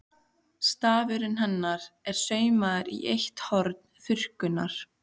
Stafurinn hennar er saumaður í eitt horn þurrkunnar.